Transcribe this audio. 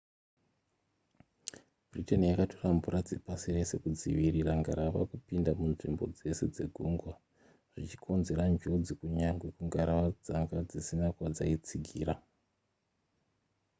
britain yakatora mvura dzepasi rese kudzivirira ngarava kupinda munzvimbo dzese dzegungwa zvichikonzera njodzi kunyangwe kungarava dzanga dzisina kwadzaitsigira